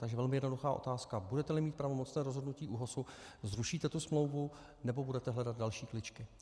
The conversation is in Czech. Takže velmi jednoduchá otázka: Budete-li mít pravomocné rozhodnutí ÚOHSu, zrušíte tu smlouvu, nebo budete hledat další kličky?